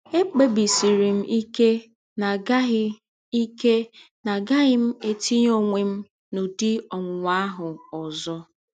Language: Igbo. Ekpebisiri m ike na agaghị ike na agaghị m etinye ọnwe m n’ụdị ọnwụnwa ahụ ọzọ.